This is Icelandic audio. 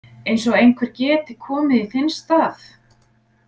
Eins og einhver geti komið í þinn stað.